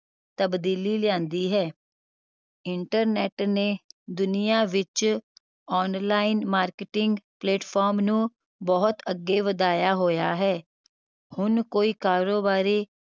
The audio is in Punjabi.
ਤਬਦੀਲੀ ਲਿਆਂਦੀ ਹੈ internet ਨੇ ਦੁਨੀਆ ਵਿਚ online marketing platform ਨੂੰ ਬਹੁਤ ਅੱਗੇ ਵਧਾਇਆ ਹੋਇਆ ਹੈ। ਹੁਣ ਕੋਈ ਕਾਰੋਬਾਰੀ